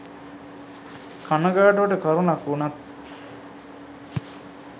කණගාටුවට කරුණක් වුණත්